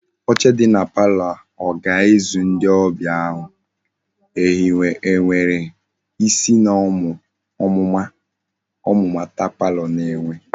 Oche dị na palọ ọ ga-ezu ndị ọbịa ahu? Ehiwere isi na omumata palọ na-enwe